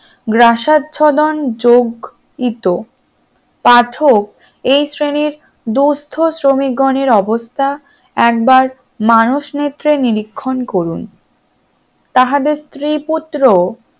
গ্রাসাচ্ছাদনযোগ ইতো পাঠক এই শ্রেণীর দুস্থ শ্রমিকগণের অবস্থা একবার মানুষ নিরিখে নিরীক্ষন করুন তাহাদের স্ত্রী পুত্র